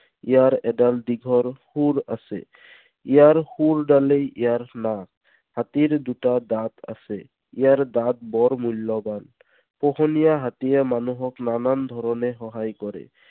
ইয়াৰ এডাল দীঘল শুঁৰ আছে। ইয়াৰ শুঁৰডালেই ইয়াৰ নাক। হাতীৰ দুটা দাঁত আছে। ইয়াৰ দাঁত বৰ মূল্যৱান। পোহনীয়া হাতীয়ে মানুহক নানান ধৰণে সহায় কৰে।